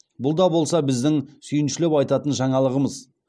бұл да болса біздің сүйіншілеп айтатын жаңалығымыз